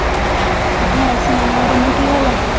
ਹੋਰ ਸੁਣਾ ਰਮਨ ਕੀ ਹਾਲ ਏ।